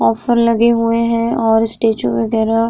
offer लगे हुए हैं और स्टैचू वगेरह --